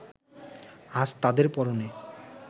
আজ তাদের পরনে